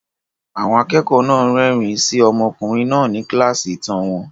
Àwọn akẹ́kọ̀ọ́ náà ń rẹ́rìn-ín sí ọmọkùnrin náà ní kíláàsì ìtàn wọn.